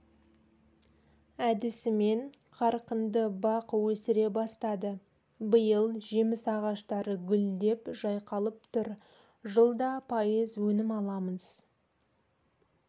әдісімен қарқынды бақ өсіре бастады биыл жеміс ағаштары гүлдеп жайқалып тұр жылда пайыз өнім аламыз